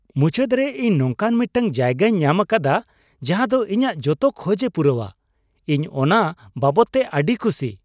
ᱢᱩᱪᱟᱹᱫ ᱨᱮ, ᱤᱧ ᱱᱚᱝᱠᱟᱱ ᱢᱤᱫᱴᱟᱝ ᱡᱟᱭᱜᱟᱧ ᱧᱟᱢᱟᱠᱟᱫᱟ ᱡᱟᱦᱟ ᱫᱚ ᱤᱧᱟᱜ ᱡᱚᱛᱚ ᱠᱷᱚᱡᱮ ᱯᱩᱨᱟᱹᱣᱼᱟ, ᱤᱧ ᱚᱱᱟ ᱵᱟᱵᱚᱛ ᱛᱮ ᱟᱹᱰᱤ ᱠᱷᱩᱥᱤ ᱾